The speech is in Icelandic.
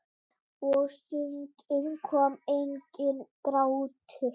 Og stundum kom enginn grátur.